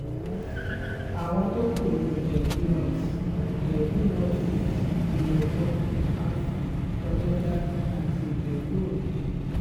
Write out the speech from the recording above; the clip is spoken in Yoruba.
àwọn tó kù ní ìjẹ́bù north ìjẹ́bù north- east ìmẹ̀kọ àfọ̀n ọ̀dẹ̀dá àti ìjẹ̀bù òde